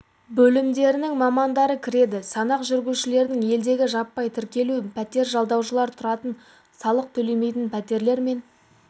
бөлімдерінің мамандары кіреді санақ жүргізудің елдегі жаппай тіркелу пәтер жалдаушылар тұратын салық төлемейтін пәтерлер мен